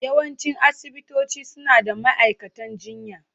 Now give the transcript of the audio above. Yawancin asibitoci suna da ma'aikatan jinya.